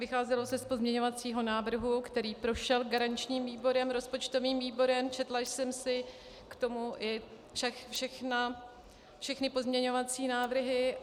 Vycházelo se z pozměňovacího návrhu, který prošel garančním výborem, rozpočtovým výborem, četla jsem si k tomu i všechny pozměňovací návrhy.